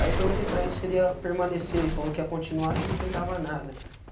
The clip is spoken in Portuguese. Aí eu perguntei para ele se ele ia permanecer e falou que ia continuar que não pegava nada.